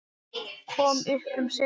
Kom upp um sig.